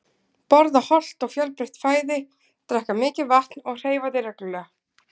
Borða hollt og fjölbreytt fæði, drekka mikið vatn og hreyfa þig reglulega.